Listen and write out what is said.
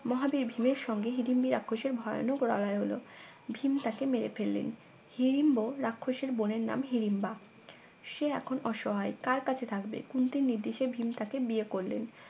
মহাবীর ভীম এর সঙ্গে হিড়িম্বি রাক্ষসের ভয়ানক লড়াই হলো ভীম তাকে মেরে ফেললেন হিরিম্বো রাক্ষসের বোনের নাম হিরিম্বা সে এখন অসহায় কার কাছে থাকবে কুন্তির নির্দেশে ভীম তাকে বিয়ে করলেন